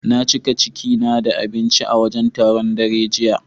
Na cika ciki na da abinci a wajen taron, daren jiya.